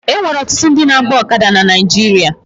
E nwere ọtụtụ ndị na-agba ọkada na Naịjirịa